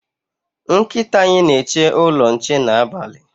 Nkịta anyị na-eche ụlọ nche n'abalị